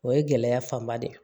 O ye gɛlɛya fanba de ye